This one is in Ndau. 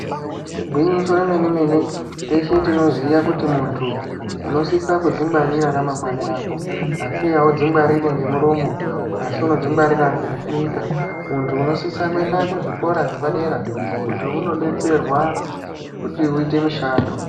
Igwinyiso remene mene teshe tinoziya kuti muntu unosisa kudzingwarira ramangwani rako asi audzingwariri ngemuromo asi unodzingwarira ngekuita muntu unosisa kuenda kuzvikora zvepadera kuti unodetserwa kuti uite mishando.